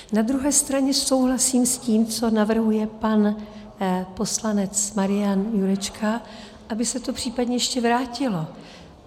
Na druhé straně souhlasím s tím, co navrhuje pan poslanec Marian Jurečka, aby se to případně ještě vrátilo.